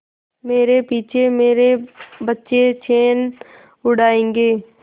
मेरे पीछे मेरे बच्चे चैन उड़ायेंगे